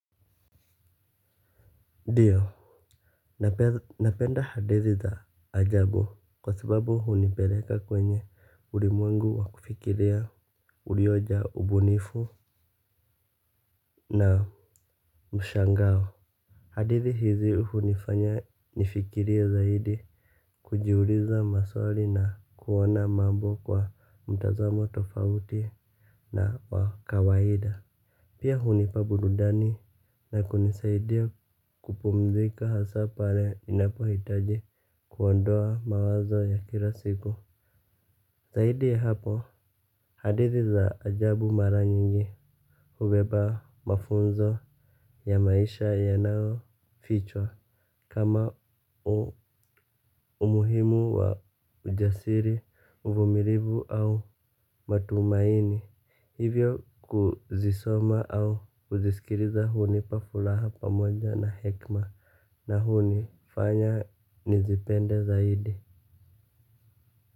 Ndiyo, napenda hadithi za ajabu kwa sababu hunipeleka kwenye ulimwengu wa kufikiria uliojaa ubunifu na mshangao. Hadithi hizi hunifanya nifikirie zaidi kujiuliza maswali na kuona mambo kwa mtazamo tofauti na wa kawaida. Pia hunipa burudani na kunisaidia kupumzika hasa pale ninapohitaji kuondoa mawazo ya kila siku. Zaidi ya hapo hadithi za ajabu mara nyingi hubeba mafunzo ya maisha yanayofichwa. Kama umuhimu wa ujasiri, uvumilivu au matumaini. Hivyo kuzisoma au kuzisikiliza hunipa furaha pamoja na hekima. Na hunifanya nizipende zaidi.